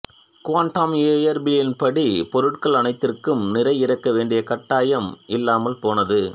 quantum இயற்பியலின்படி பொருள்கள் அனைத்திற்கும் நிறை இருக்க வேண்டிய கட்டாயம் இல்லாமல் போனது